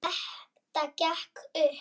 Þetta gekk upp.